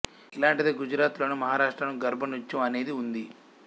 ఇలాంటిదే గుజరాత్ లోనూ మహారాష్ట్ర లోనూ గర్భా నృత్యం అనేది ఉంది